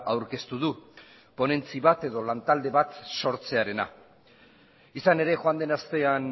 aurkeztu du ponentzi bat edo lantalde bat sortzearena izan ere joan den astean